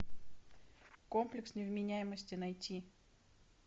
комплекс невменяемости найти